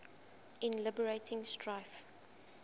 in liberating strife